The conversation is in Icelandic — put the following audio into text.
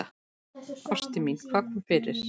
Ástin mín, hvað kom fyrir?